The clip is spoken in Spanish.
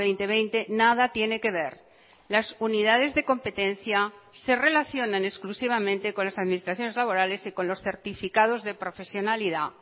dos mil veinte nada tiene que ver las unidades de competencia se relacionan exclusivamente con las administraciones laborales y con los certificados de profesionalidad